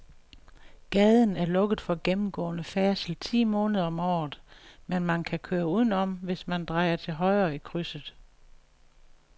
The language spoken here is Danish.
Gaden er lukket for gennemgående færdsel ti måneder om året, men man kan køre udenom, hvis man drejer til højre i krydset.